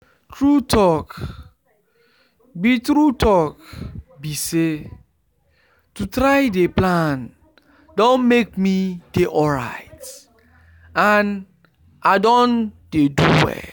true talk be true talk be say to try dey plan don make me dey alright and i don dey do well